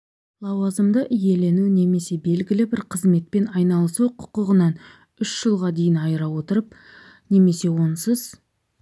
лауазымды иелену немесе белгілі бір қызметпен айналысу құқығынан үш жылға дейін айыра отырып немесе онсыз